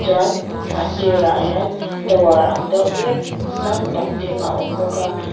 chuan a sîrah hian tower ang deuh hlek sâng tak ding a awm bawk a.